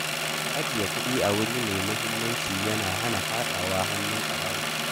Ajiye kuɗi a wuri mai aminci yana hana faɗawa hannun barayi.